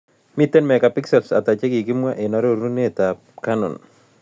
Miten megapixelisiek ata che kikimwa eng' arorunetap canon